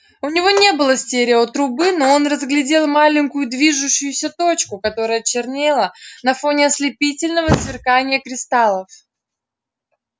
у него не было стереотрубы но он разглядел маленькую движущуюся точку которая чернела на фоне ослепительного сверкания кристаллов